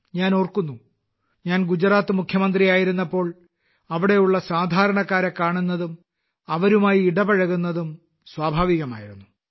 ഞാൻ ഓർക്കുന്നു ഗുജറാത്ത് മുഖ്യമന്ത്രിയായിരുന്നപ്പോൾ അവിടെയുള്ള സാധാരണക്കാരെ കാണുന്നതും അവരുമായി ഇടപഴകുന്നതും സ്വാഭാവികമായിരുന്നു